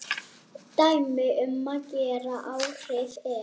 Dæmi um gera afhroð er